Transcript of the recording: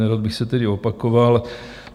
Nerad bych se tedy opakoval.